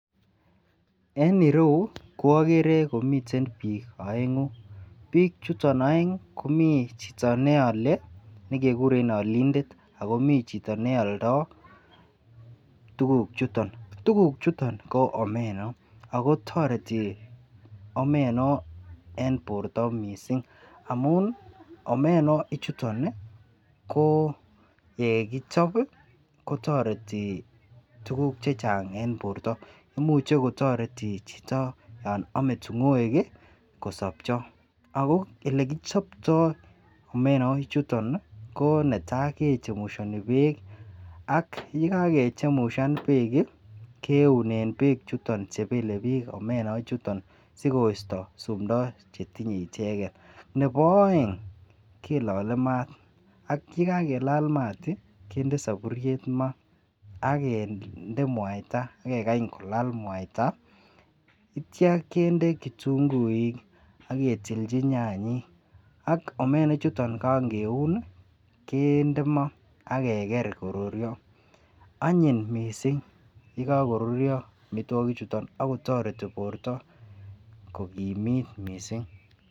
En ireyuu ko okere komiten bik oengu , bik chuton oengi komii chito neole nekikure olindet ako mii chito neole tukuchuton ko omeno. Ako toreti omeno en borto missing amun omeno ichuyon nii ko yekoichob kotoreti tukuk chechang en borto imuch kotoreti chito yon ome tingoek kosobchi. Olekichoptoo omena chuton nii ko netai kechemushoni beek, ak yekakechemushan beek kii kiune beek chuton omen chuton sikoisto sumdo chetinye icheket. Nebo oeng kilole maat ak yekakelal maat kinde soburyet maa akende muaita ak kekany kolal muaita ityo kende kitunguuk ak ketilchi nyanyik ak omena chuton kannkeun kende maa ak ke ker koruryo. Onyin kot missing yekokoruryo omitwokik chuton ak kotoreti borto kokimit missing.